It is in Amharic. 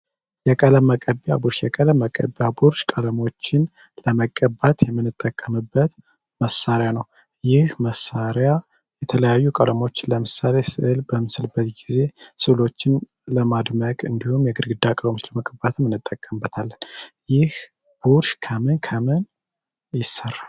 ቀለም መቀቢያ ብሩሽ ቀለም መቀቢያ ብሩሽ ቀለሞችን ለመቀባት የምንጠቀምበት መሳሪያ ነው። ይህ መሳሪያ የተለያዩ ቀለሞችን ለምሳሌ ሥዕል በምንስልበት ጊዜ ሥዕሎችን ለማድመቅ እንዲሁም የግድግዳ ቀለሞችን ለመቀባትም እንጠቀምበታለን። ይህ ቡርሽ ከምን ከምን ይሠራል?